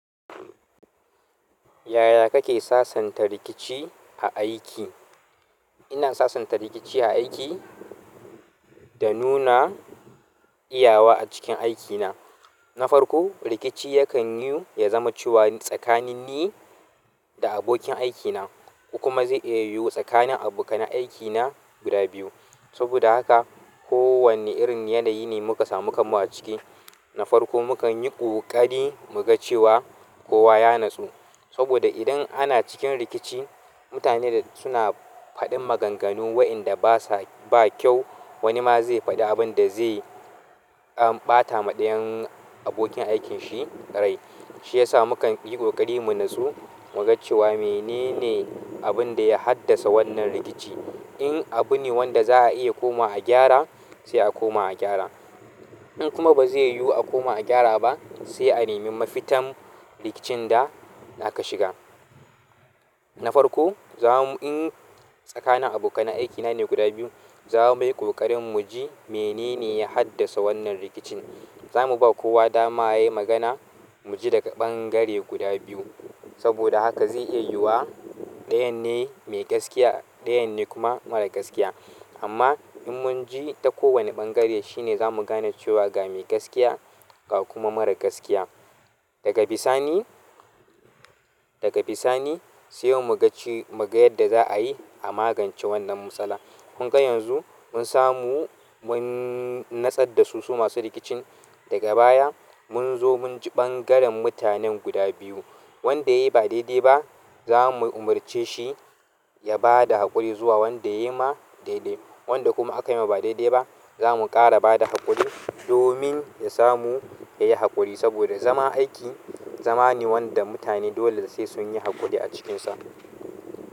Yaya kake sasanta rikici a aiki? Ina sasanta rikici a aiki da nuna iyawa a cikin aikina. Na farko, rikici yakan yiwu ya zama cewa tsakanin ni da abokin aikina, ko kuma zai iya yiwu tsakanin abokanan aikina guda biyu. Saboda haka, kowane irin yanayi ne muka samu kamuwa ciki, na farko mukan yi ƙoƙari mu ga cewa kowa ya natsu. Saboda idan ana cikin rikici, mutane suna faɗin maganganu waƴanda ba kyau wani ma zai faɗi abin da zai ɓata ma ɗayan abokin aikinshi rai. Shi yasa mukanyi ƙoƙari mu natsu muga cewa menene abunda ya haddasa wannan rikici in abu ne wanda za a iya koma a gyara, sai a koma a gyara. In kuma ba zai yiwu a koma a gyara ba, sai a nemi mafitan rikicin da aka shiga. Na farko, in tsakanin abokanan aikina ne guda biyu, za mu yi ƙoƙarin mu ji menene ya haddasa wannan rikicin. Za mu ba kowa dama yayi magana, mu ji daga ɓangare guda biyu. Saboda haka zai iya yiwuwa ɗayan ne mai gaskiya, ɗayan ne kuma mara gaskiya. Amma in mun ji ta kowane ɓangare, shi ne za mu gane cewa ga mai gaskiya ga kuma mara gaskiya. Daga bisani. Daga bisani, sai mu ga yadda za a yi a magance wannan matsala. Kun ga yanzu mun samu, mun natsar da su, su masu rikicin. Daga baya munzo munji ɓangaren mutanen guda biyu wanda yayi ba daidai ba, za mu umarce shi ya ba da haƙuri zuwa wanda yayi ma daidai. Wanda kuma aka yi ma ba daidai ba, za mu ƙara ba da haƙuri domin ya samu yayi haƙuri. Saboda zaman aiki, zama ne wanda mutane dole sai sun yi haƙuri a cikinsa.